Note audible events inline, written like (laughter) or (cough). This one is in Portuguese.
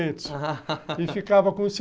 E ficava com os cinquenta (laughs)